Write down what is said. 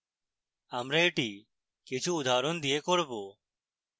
আমরা এটি কিছু উদাহরণ দিয়ে করব